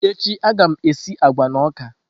Echi a ga m esi agwa na ọka.